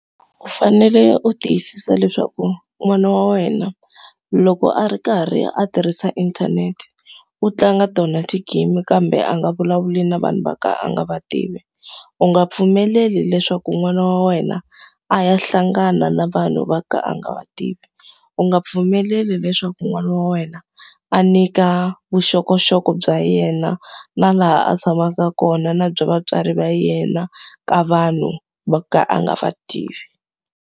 U fanele u tiyisisa leswaku n'wana wa wena loko a ri karhi a tirhisa inthanete, u tlanga tona ti-game kambe a nga vulavuli na vanhu vo ka a nga va tivi. U nga pfumeleli leswaku n'wana wa wena a ya hlangana na vanhu vo ka a nga va tivi. U nga pfumeleli leswaku n'wana wa wena a nyika vuxokoxoko bya yena, na laha a tshamaka kona na bya vatswari va yena ka vanhu vo ka a nga va tivi.